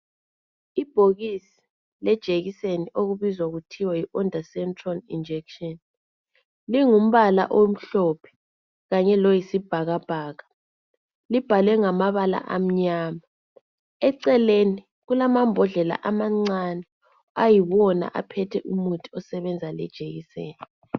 Ibhokisi lamaphilisi elilombala olithanga lombala oluhlaza ibhokisi libukeka lisebenza lejikiseni ibizo lawo okuthiwa yiondansentron.